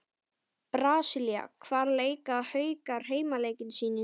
Brasilía Hvar leika Haukar heimaleiki sína í sumar?